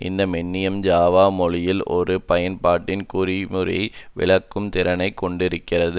இந்த மென்னியம் ஜாவா மொழியில் ஒரு பயன்பாட்டின் குறிமுறையை விளக்கும் திறனை கொண்டிருக்கிறது